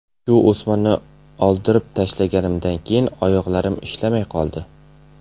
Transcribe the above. Shu o‘smani oldirib tashlaganimdan keyin oyoqlarim ishlamay qoldi.